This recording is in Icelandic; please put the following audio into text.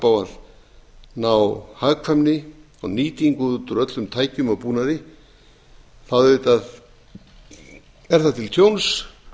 að ná hagkvæmni og nýtingu út úr öllum tækjum og búnaði er það auðvitað til tjóns